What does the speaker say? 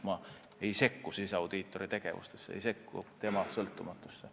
Ma ei sekku siseaudiitori tegevusse, ei riku tema sõltumatust.